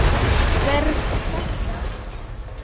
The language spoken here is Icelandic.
Var þetta.?